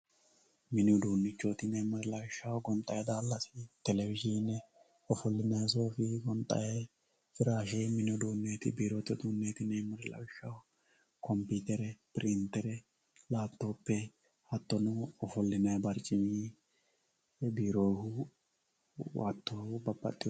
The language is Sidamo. Minni udduunichoti yinemori lawishshaho goonixayyi dalassi televizhine offolinayi sooffi goonixayi firashshe minni uduneti birrotte undenetti yinemori lawishshaho kophutere pirintere laapitope haatono offoliyinayi baricimmi biirohu hatto babaxewo